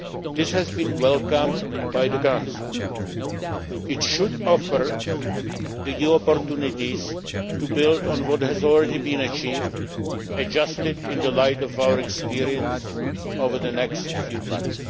This has been welcomed by the Council. It should offer new opportunities and build on what has already been achieved, adjusted in the light of our experience over the next few months.